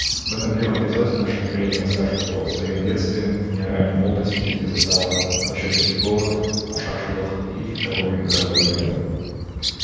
в этом первом эпизоде наша героиня расскажет о своем детстве и о ранней молодости где застала голощёкинский голод ашаршылық и вторую мировую войну